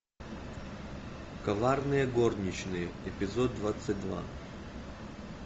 коварные горничные эпизод двадцать два